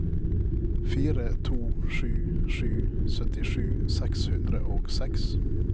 fire to sju sju syttisju seks hundre og seks